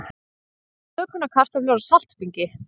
Bökunarkartöflur á saltbingi